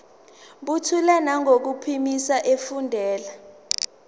buthule nangokuphimisa efundela